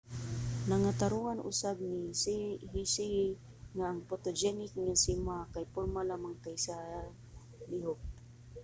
nangatarongan usab ni hsieh nga ang photogenic nga si ma kay porma lamang kaysa lihok